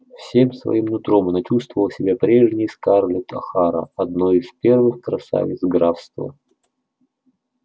всем своим нутром она чувствовала себя прежней скарлетт охара одной из первых красавиц графства